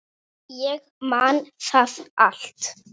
Ég man það allt.